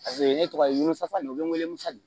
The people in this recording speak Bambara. Paseke ne tɔgɔ ye wolosisan ne ye welemusa de